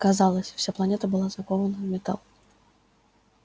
казалось вся планета была закована в металл